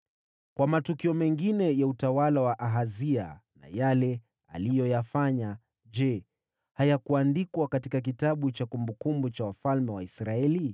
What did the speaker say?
Kwa matukio mengine ya utawala wa Ahazia na yale aliyoyafanya, je, hayakuandikwa katika kitabu cha kumbukumbu za wafalme wa Israeli?